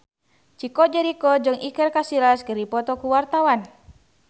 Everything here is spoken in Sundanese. Chico Jericho jeung Iker Casillas keur dipoto ku wartawan